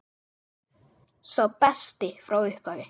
Sá besti frá upphafi?